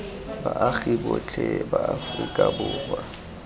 baagi botlhe ba aforika borwa